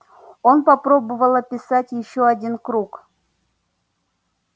он попробовал описать ещё один круг